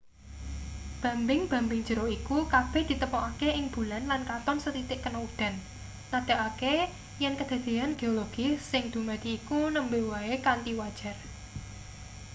bambing-bambing jero iku kabeh ditemokake ing bulan lan katon sethithik kena udan nandhakake yen kedadean geologis sing dumadi iku nembe wae kanthi wajar